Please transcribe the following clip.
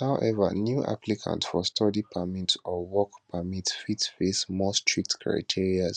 howeva new applicants for study permits or work permits fit face more strict criteria